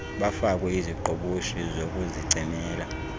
bafakwe iziqhoboshi bokuzicimela